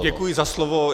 Děkuji za slovo.